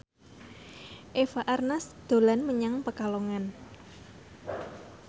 Eva Arnaz dolan menyang Pekalongan